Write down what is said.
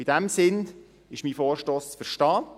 In diesem Sinn ist mein Vorstoss zu verstehen.